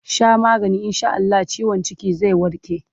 Sha maganin in sha Allah ciwon cikin zai warke!